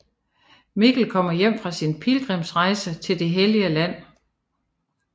Mikkel kommer hjem fra sin pilgrimsrejse til det hellige land